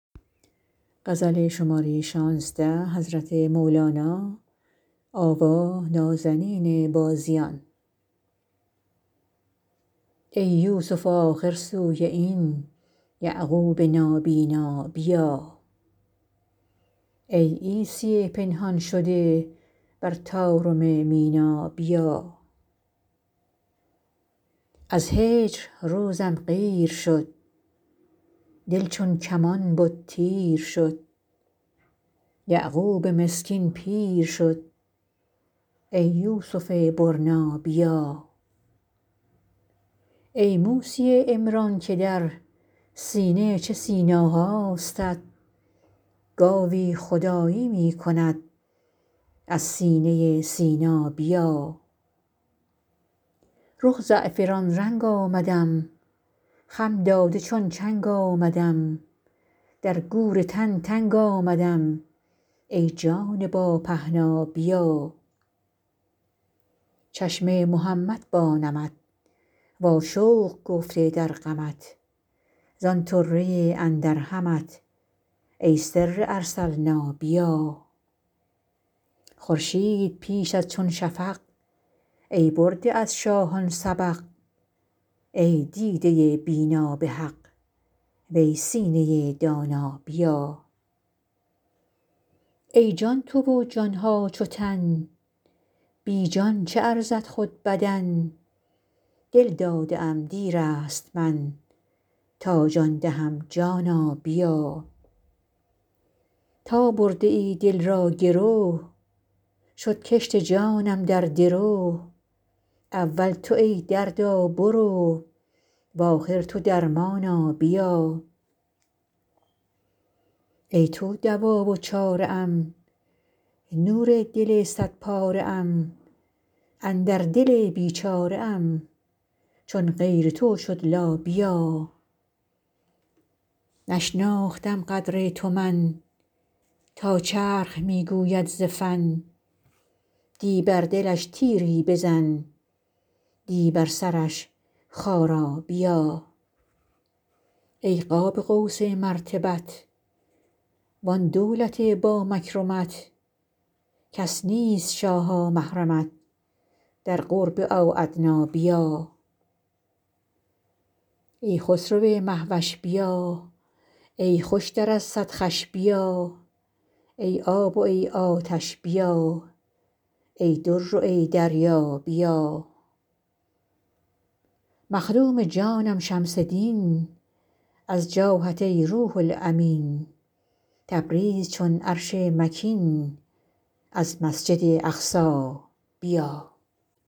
ای یوسف آخر سوی این یعقوب نابینا بیا ای عیسی پنهان شده بر طارم مینا بیا از هجر روزم قیر شد دل چون کمان بد تیر شد یعقوب مسکین پیر شد ای یوسف برنا بیا ای موسی عمران که در سینه چه سینا هاستت گاوی خدایی می کند از سینه سینا بیا رخ زعفران رنگ آمدم خم داده چون چنگ آمدم در گور تن تنگ آمدم ای جان با پهنا بیا چشم محمد با نمت واشوق گفته در غمت زان طره اندر همت ای سر ارسلنا بیا خورشید پیشت چون شفق ای برده از شاهان سبق ای دیده بینا به حق وی سینه دانا بیا ای جان تو و جان ها چو تن بی جان چه ارزد خود بدن دل داده ام دیر است من تا جان دهم جانا بیا تا برده ای دل را گرو شد کشت جانم در درو اول تو ای دردا برو و آخر تو درمانا بیا ای تو دوا و چاره ام نور دل صدپاره ام اندر دل بیچاره ام چون غیر تو شد لا بیا نشناختم قدر تو من تا چرخ می گوید ز فن دی بر دلش تیری بزن دی بر سرش خارا بیا ای قاب قوس مرتبت وان دولت با مکرمت کس نیست شاها محرمت در قرب او ادنی بیا ای خسرو مه وش بیا ای خوشتر از صد خوش بیا ای آب و ای آتش بیا ای در و ای دریا بیا مخدوم جانم شمس دین از جاهت ای روح الامین تبریز چون عرش مکین از مسجد اقصی بیا